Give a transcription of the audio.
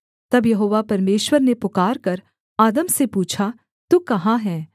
तब यहोवा परमेश्वर ने पुकारकर आदम से पूछा तू कहाँ है